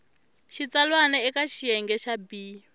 xitsalwana eka xiyenge xa b